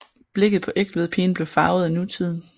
Blikket på Egtvedpigen blev farvet af nutiden